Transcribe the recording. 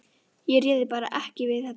Ég réði bara ekki við þetta.